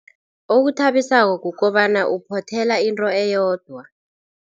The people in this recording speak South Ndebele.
Okuthabisako kukobana uphothela into eyodwa.